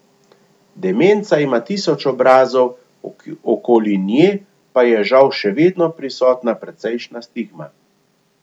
Demenca ima tisoč obrazov, okoli nje pa je žal še vedno prisotna precejšnja stigma.